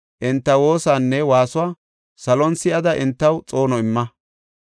enta woosanne waasuwa salon si7ada entaw xoono imma.